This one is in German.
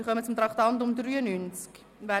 Wir kommen zum Traktandum 93.